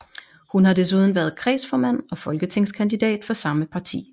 Hun har desuden været kredsformand og folketingskandidat for samme parti